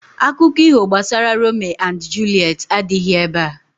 Akuko iho gbasara Rome and Juliet adighi ebea